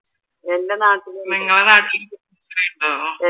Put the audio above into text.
നിങ്ങളുടെ നാട്ടിലും കുടുംബശ്രീ ഉണ്ടോ?